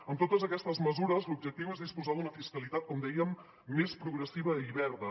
amb totes aquestes mesures l’objectiu és disposar d’una fiscalitat com dèiem més progressiva i verda